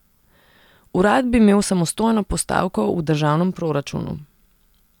Urad bi imel samostojno postavko v državnem proračunu.